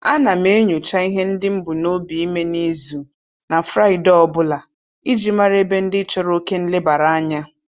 Ana m enyocha ihe ndị m bunobi ime n'izu na Fraịde ọbụla iji mara ebe ndị chọrọ oke nlebaranya